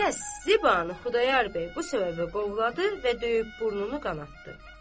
Təzə Zibanı Xudayar bəy bu səbəbə qovladı və döyüb burnunu qanaddı.